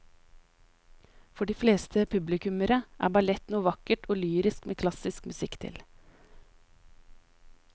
For de fleste publikummere er ballett noe vakkert og lyrisk med klassisk musikk til.